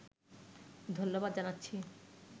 ধন্যবাদ জানাচ্ছি